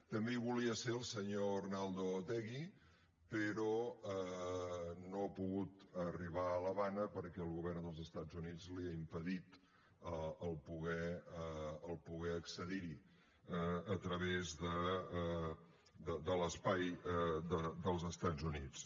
també hi volia ser el senyor arnaldo otegi però no ha pogut arribar a l’havana perquè el govern dels estats units li ha impedit poder accedir hi a través de l’espai dels estats units